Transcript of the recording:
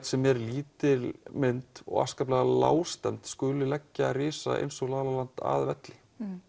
sem er lítil mynd og afskaplega lágstemmd skuli leggja risa eins og la la land að velli